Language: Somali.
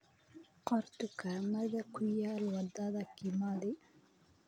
qor dukaamada ku yaal wadada kimathi